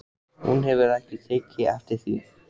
Hún hefur ekki tekið eftir því fyrr.